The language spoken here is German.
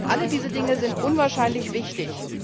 Alle diese Dinge sind unwahrscheinlich wichtig.